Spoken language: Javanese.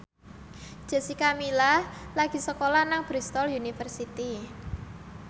Jessica Milla lagi sekolah nang Bristol university